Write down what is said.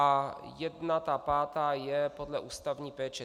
A jedna, ta pátá, je podle ústavní péče.